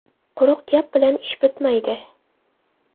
Quruq gap bilan ish bitmaydi.